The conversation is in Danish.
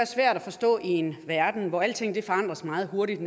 svært at forstå i en verden hvor alting forandres meget hurtigt